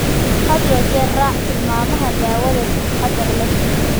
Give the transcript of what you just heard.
Had iyo jeer u raac tilmaamaha daawada si taxadar leh.